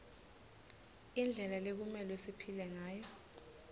indlela lekumelwe siphile ngayo